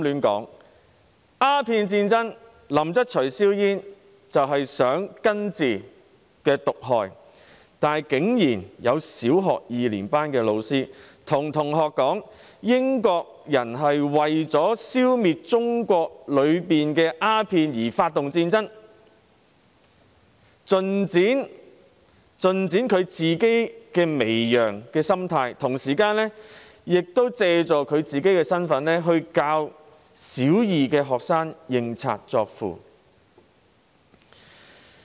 在鴉片戰爭中，林則徐銷煙是為了根治毒害，但竟然有小學二年級的老師告訴同學，英國人當時是為了消滅中國國內的鴉片而發起戰爭，盡展其媚洋心態，同時亦藉他的教師身份，教導小學二年級的學生認賊作父。